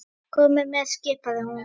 Komiði með! skipaði hún.